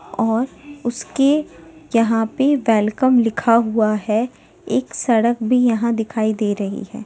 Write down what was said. और उसके यहाँ पे‌ वेलकम लिखा हुआ है एक सड़क भी यहाँ दिखाई दे रही है।